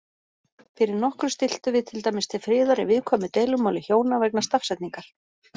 Fyrir nokkru stilltum við til dæmis til friðar í viðkvæmu deilumáli hjóna vegna stafsetningar.